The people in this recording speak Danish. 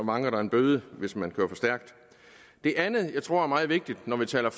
vanker en bøde hvis man kører for stærkt det andet jeg tror er meget vigtigt når vi taler